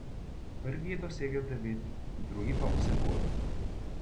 Prvi je dosegel devet, drugi pa osem golov.